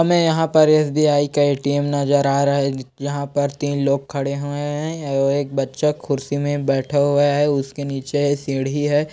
हमें यहाँ पर एस.बी.आई. के ई.टी.एम. नजर आ रहे जहाँ पर तीन लोग खड़े हुए हैं। एक बच्चा कुर्सी में बैठा हुआ है। उसके निचे एक सीढ़ी है ।